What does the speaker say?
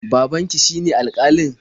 Babanki shine alƙalin?